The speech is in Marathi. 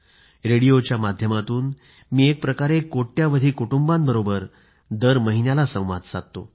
रेडिओच्या माध्यमातून मी एक प्रकारे कोट्यवधी कुटुंबांबरोबर दर महिन्याला संवाद साधतो